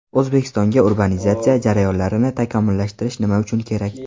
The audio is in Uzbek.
O‘zbekistonga urbanizatsiya jarayonlarini takomillashtirish nima uchun kerak?.